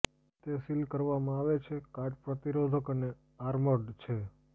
તે સીલ કરવામાં આવે છે કાટ પ્રતિરોધક અને આર્મર્ડ છે